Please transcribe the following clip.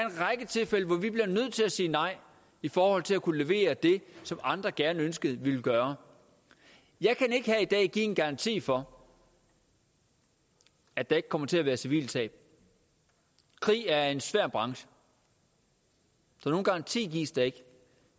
sige nej i forhold til at kunne levere det som andre gerne ønskede at vi ville gøre jeg kan ikke her i dag give en garanti for at der ikke kommer til at være civile tab krig er en svær branche så nogen garanti gives der ikke